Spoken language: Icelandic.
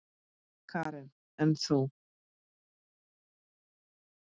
Karen: En þú?